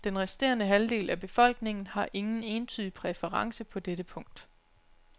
Den resterende halvdel af befolkningen har ingen entydig præference på dette punkt.